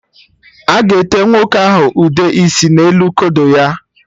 A ga-ete nwoke ahụ ụde isi n'elu kodo ya